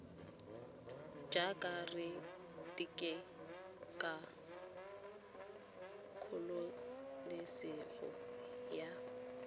jaaka re keteka kgololesego ya